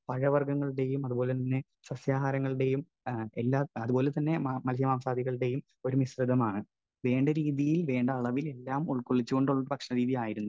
Speaker 1 പഴവർഗങ്ങളുടെയും അതുപോലെതന്നെ സസ്യാഹാരങ്ങളുടെയും എല്ലാ, അതുപോലെതന്നെ മൽസ്യമാംസാദികളുടെയും ഒരു മിശ്രിതമാണ്. വേണ്ടരീതിയിൽ വേണ്ട അളവിൽ എല്ലാം ഉൾക്കൊള്ളിച്ചുകൊണ്ടുള്ള ഭക്ഷണരീതി ആയിരുന്നു